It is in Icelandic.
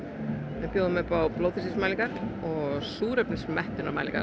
við bjóðum upp á blóðþrýstingsmælingar og